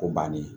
O bannen